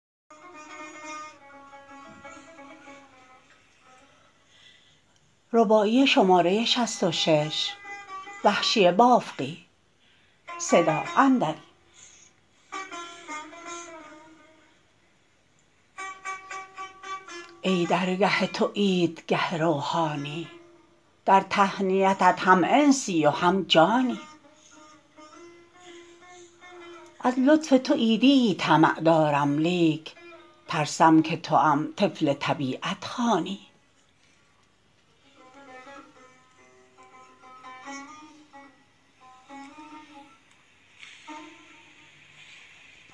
ای درگه تو عید گه روحانی در تهنیتت هم انسی و هم جانی از لطف تو عیدیی طمع دارم لیک ترسم که توام طفل طبیعت خوانی